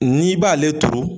N'i b'ale turu